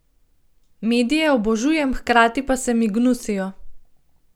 Medije obožujem, hkrati pa se mi gnusijo.